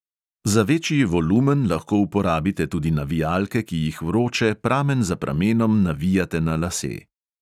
Za večji volumen lahko uporabite tudi navijalke, ki jih vroče pramen za pramenom navijate na lase.